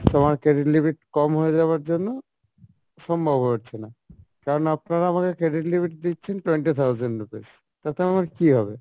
তো আমার credit limit কম হয়ে যাওয়ার জন্য সম্ভব হয়ে উঠছে না, কেননা আপনারা আমাকে credit limit দিচ্ছেন twenty thousand rupees তাতে আমার কী হবে?